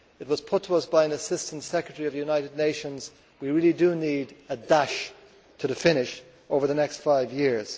It was put to us by an Assistant Secretary of the United Nations that we really do need a dash to the finish' over the next five years.